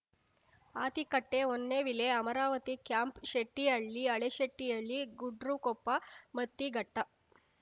Hathikatte Honnavile Amaravati camp Shettihalli Haleshettihalli Gudrakoppa Mattighatta